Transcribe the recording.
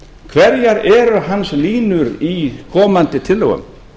hverjar eru hans línur í komandi tillögum